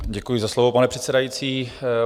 Děkuji za slovo, pane předsedající.